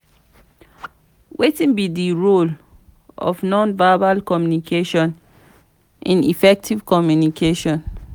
wetin be di role of non-verbal communication in effective communication?